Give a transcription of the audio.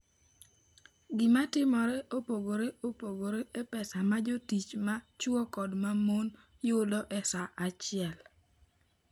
Gima timore opogore opogore e pesa ma jotich ma chwo kod ma mon yudo e saa achiel.